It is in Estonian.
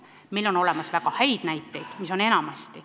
Meil on olemas väga häid näiteid, enamasti ongi meil väga head näited.